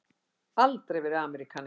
Aldrei verið Ameríkani áður.